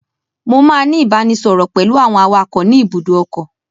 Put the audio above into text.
Mo máa ní ìbánisọọ̀rọ̀ pẹ̀lú àwọn awakọ̀ ni ibùdó ọkọ̀.